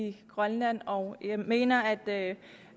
i grønland og jeg mener at